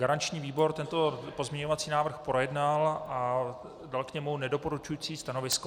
Garanční výbor tento pozměňovací návrh projednal a dal k němu nedoporučující stanovisko.